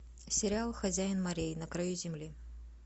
сериал хозяин морей на краю земли